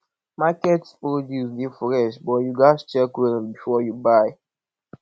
market produce dey fresh but you gats check well before you buy